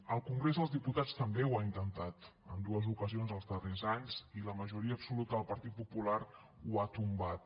el congrés dels diputats també ho ha intentat en dues ocasions els darrers anys i la majoria absoluta del partit popular ho ha tombat